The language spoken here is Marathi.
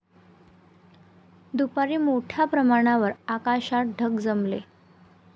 दुपारी मोठ्या प्रमाणावर आकाशात ढग जमले.